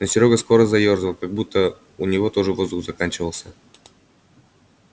но серёга скоро заёрзал как будто у него тоже воздух заканчивался